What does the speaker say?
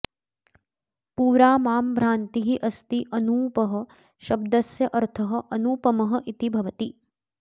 पुरा मां भ्रान्तिः अस्ति अनूपः शब्दस्य अर्थः अनूपमः इति भवति